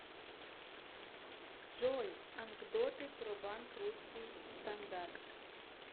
джой анкдоты про банк русский стандарт